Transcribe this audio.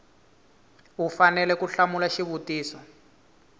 u fanele ku hlamula xivutiso